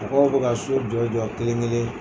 A ko aw bɛ ka sow jɔ jɔ kelen kelen.